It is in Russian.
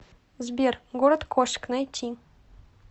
сбер город кошек найти